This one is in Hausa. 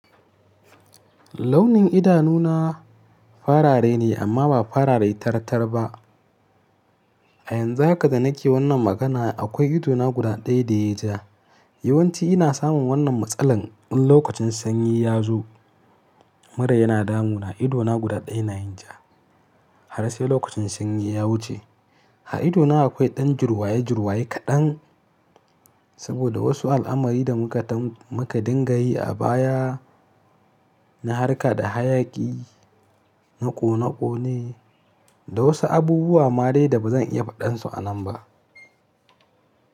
Launin idanuna farare ne amma ba farare tartar ba. A yanzu haka da nake wannan magana akwai idona guda ɗaya da yayi ja. Yawanci ina samun wannan matsalan in lokacin sanyi ya zo mura yana damu na idona guda ɗaya na yin ja. Har sai lokacin sanyi ya wuce. A idona akwai ɗan jirwaye-jirwaye kaɗan saboda wasu al'amari da muka dinga yi a baya na harka da hayaƙi na ƙone-ƙone da wasu abubuwa ma dai ba zan iya faɗan su a nan ba.